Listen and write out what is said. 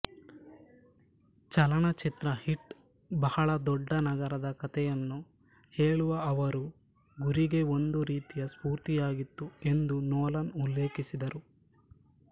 ಚಲನಚಿತ್ರ ಹೀಟ್ ಬಹಳ ದೊಡ್ಡ ನಗರದ ಕಥೆಯನ್ನು ಹೇಳುವ ಅವರು ಗುರಿಗೆ ಒಂದು ರೀತಿಯ ಸ್ಫೂರ್ತಿಯಾಗಿತ್ತು ಎಂದೂ ನೋಲನ್ ಉಲ್ಲೇಖಿಸಿದರು